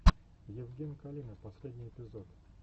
евген калина последний эпизод